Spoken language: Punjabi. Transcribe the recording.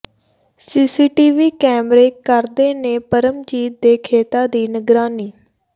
ਸੀਸੀਟੀਵੀ ਕੈਮਰੇ ਕਰਦੇ ਨੇ ਪਰਮਜੀਤ ਦੇ ਖੇਤਾਂ ਦੀ ਨਿਗਰਾਨੀ